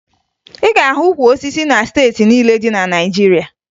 Ị ga-ahụ ukwu osisi na steeti niile dị na Naịjirịa